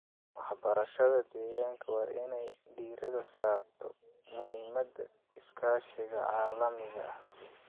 Waxbarashada deegaanka waa inay diiradda saarto muhiimadda iskaashiga caalamiga ah.